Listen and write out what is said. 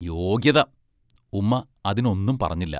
യോഗ്യത ഉമ്മാ അതിനൊന്നും പറഞ്ഞില്ല.